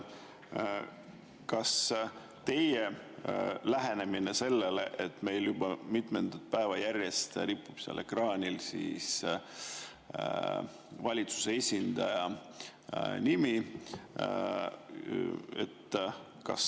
Milline on teie lähenemine sellele, et meil juba mitmendat päeva järjest ripub seal ekraanil valitsuse esindaja nimi?